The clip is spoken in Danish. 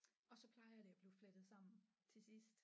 Og så plejer det at blive flettet sammen til sidst